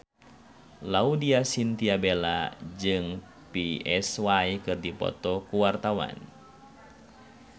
Laudya Chintya Bella jeung Psy keur dipoto ku wartawan